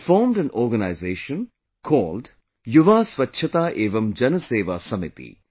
He formed an organization called Yuva Swachhta Evam Janseva Samiti